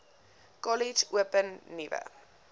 kollege open nuwe